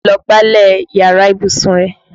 Lọ gbálẹ̀ yàrá ìbùsùn rẹ!